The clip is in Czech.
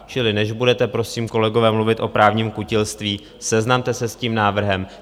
Čili než budete prosím, kolegové, mluvit o právním kutilství, seznamte se s tím návrhem.